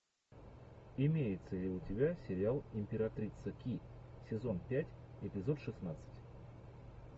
имеется ли у тебя сериал императрица ки сезон пять эпизод шестнадцать